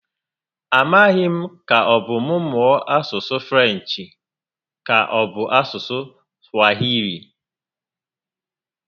A maghị m ka ọbụ mụ mụọ asụsụ Frenchi ka ọbụ asụsụ Swahili?